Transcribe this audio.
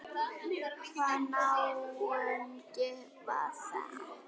Hvaða náungi var það?